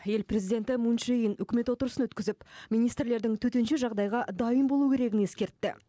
ел президенті мун чжэ ин үкімет отырысын өткізіп министрлердің төтенше жағдайға дайын болу керегін ескертті